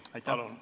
Palun!